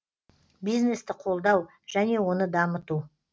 бизнесті қолдау және оны дамыту